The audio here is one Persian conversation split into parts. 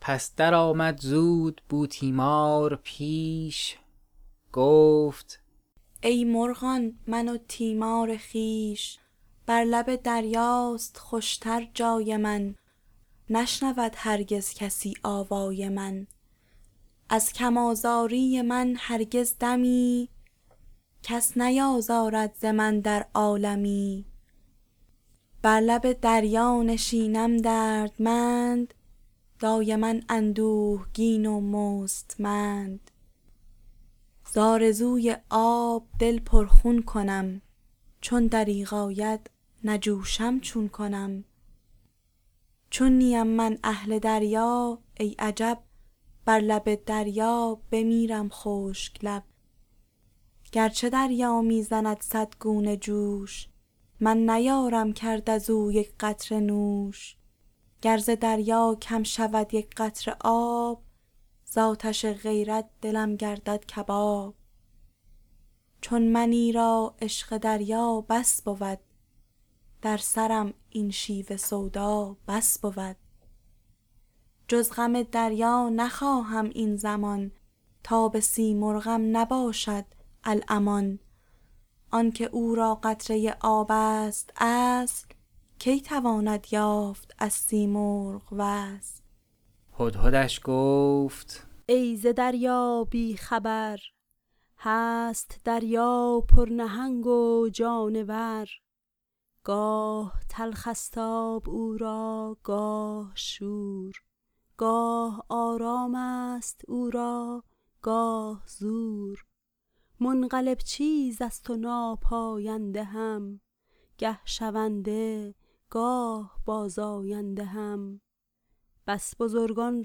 پس درآمد زود بوتیمار پیش گفت ای مرغان من و تیمار خویش بر لب دریاست خوش تر جای من نشنود هرگز کسی آوای من از کم آزاری من هرگز دمی کس نیازارد ز من در عالمی بر لب دریا نشینم دردمند دایما اندوهگین و مستمند زآرزوی آب دل پر خون کنم چون دریغ آید نجوشم چون کنم چون نیم من اهل دریا ای عجب بر لب دریا بمیرم خشک لب گر چه دریا می زند صد گونه جوش من نیارم کرد از او یک قطره نوش گر ز دریا کم شود یک قطره آب زآتش غیرت دلم گردد کباب چون منی را عشق دریا بس بود در سرم این شیوه سودا بس بود جز غم دریا نخواهم این زمان تاب سیمرغم نباشد الامان آنک او را قطره آب ست اصل کی تواند یافت از سیمرغ وصل هدهدش گفت ای ز دریا بی خبر هست دریا پر نهنگ و جانور گاه تلخ است آب او را گاه شور گاه آرام است او را گاه زور منقلب چیز است و ناپاینده هم گه شونده گاه بازآینده هم بس بزرگان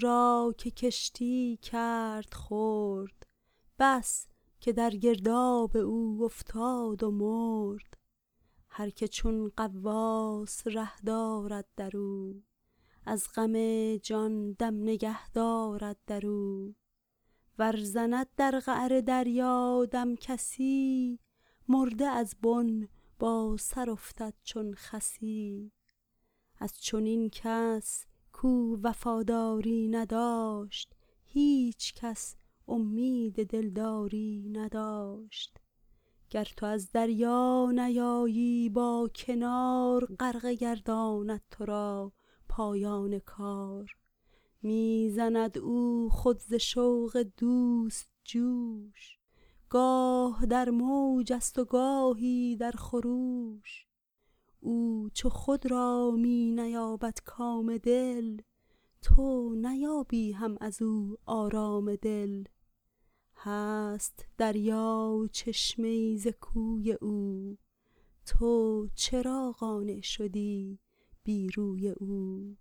را که کشتی کرد خرد بس که در گرداب او افتاد و مرد هرک چون غواص ره دارد در او از غم جان دم نگه دارد در او ور زند در قعر دریا دم کسی مرده از بن با سر افتد چون خسی از چنین کس کاو وفاداری نداشت هیچ کس اومید دلداری نداشت گر تو از دریا نیایی با کنار غرقه گرداند تو را پایان کار می زند او خود ز شوق دوست جوش گاه در موج است و گاهی در خروش او چو خود را می نیابد کام دل تو نیابی هم از او آرام دل هست دریا چشمه ای از کوی او تو چرا قانع شدی بی روی او